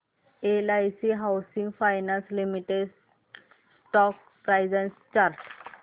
LIC housing finance limited stock price and chart